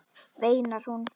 veinar hún.